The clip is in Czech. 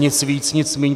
Nic víc, nic míň.